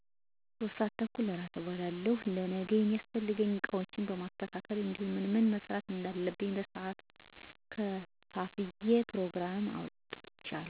3:30 እራት እበላለሁ: ለነገ የሚያስፈልጉኝን እቃዎችን አስተካክላለሁ እንዲሁም ምን ምን መስራት እንዳለብኝ በሰዓት ከፋፍዬ ፕሮግራሞቼን አስቀምጣለሁ።